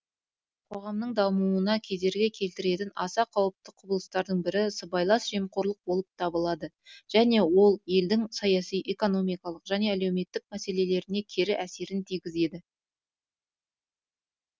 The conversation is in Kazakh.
қоғамның дамуына кедергі келтіретін аса қауіпті құбылыстардың бірі сыбайлас жемқорлық болып табылады және ол елдің саяси экономикалық және әлеуметтік мәселелеріне кері әсерін тигізеді